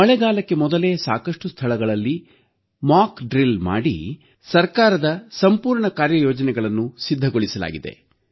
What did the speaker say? ಮಳೆಗಾಲಕ್ಕೆ ಮೊದಲೇ ಸಾಕಷ್ಟು ಸ್ಥಳಗಳಲ್ಲಿ ತಾಲೀಮು ಮಾಡಿ ಸಂಪೂರ್ಣ ಸರ್ಕಾರದ ಕಾರ್ಯ ಯೋಜನೆಗಳನ್ನು ಸಿದ್ಧಗೊಳಿಸಲಾಗಿದೆ